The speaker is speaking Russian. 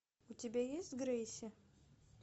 у тебя есть грейси